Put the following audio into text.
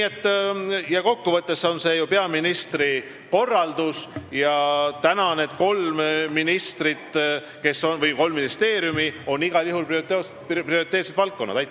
Aga kokku võttes on ju tegemist peaministri korraldusega ja praegu katavad need kolm ministrit, kolm ministeeriumi igal juhul prioriteetseid valdkondi.